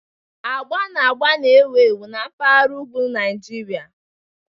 Agba na agba na-ewu ewu na mpaghara ugwu Nigeria.